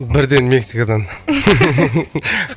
бірден мексикадан